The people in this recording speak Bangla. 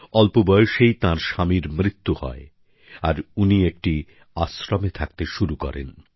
অল্প বয়সেই তাঁর স্বামীর মৃত্যু হয় আর তিনি একটি আশ্রমে থাকতে শুরু করেন